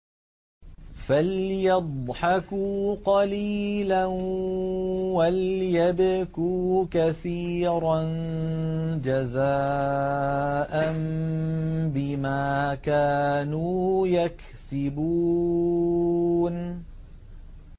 فَلْيَضْحَكُوا قَلِيلًا وَلْيَبْكُوا كَثِيرًا جَزَاءً بِمَا كَانُوا يَكْسِبُونَ